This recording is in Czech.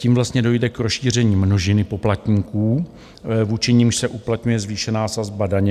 Tím vlastně dojde k rozšíření množiny poplatníků, vůči nimž se uplatňuje zvýšená sazba daně.